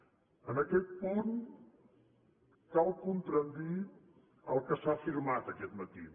en aquest punt cal contradir el que s’ha afirmat aquest matí